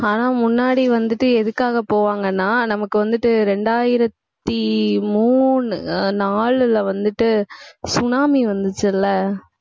ஆனா, முன்னாடி வந்துட்டு எதுக்காக போவாங்கன்னா நமக்கு வந்துட்டு, ரெண்டாயிரத்தி மூணு ஆஹ் நாலுல வந்துட்டு tsunami வந்துச்சுல்ல